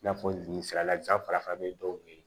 I n'a fɔ jeli sira lajan farafin dɔw be yen